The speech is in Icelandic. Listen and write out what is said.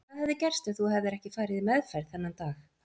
Hvað hefði gerst ef þú hefðir ekki farið í meðferð þennan dag?